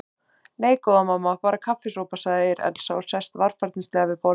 Nei, góða mamma, bara kaffisopa, segir Elsa og sest varfærnislega við borðið.